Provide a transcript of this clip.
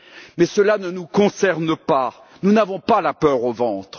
Mais cela ne nous concerne pas, nous n'avons pas la peur au ventre.